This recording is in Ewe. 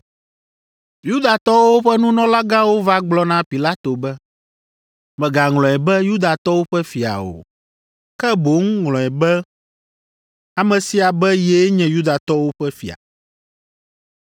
Yudatɔwo ƒe nunɔlagãwo va gblɔ na Pilato be, “Mègaŋlɔe be, ‘Yudatɔwo ƒe fia’ o, ke boŋ ŋlɔe be ame sia be yee nye Yudatɔwo ƒe fia.”